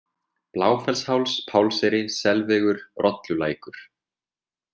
Bláfellsháls, Pálseyri, Selvegur, Rollulækur